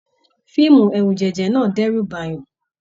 Fíìmù ẹrujẹjẹ náà n d'ẹru b'ayan.